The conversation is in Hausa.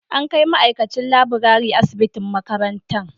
An kai ma'aikacin laburare asibitin makarantan